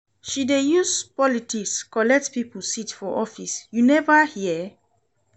She dey use politics collect pipo seat for office, you neva hear?